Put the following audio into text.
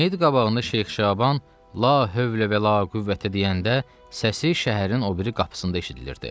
Meyit qabağında Şeyx Şaban la hövlə və la qüvvətə deyəndə səsi şəhərin o biri qapısında eşidilirdi.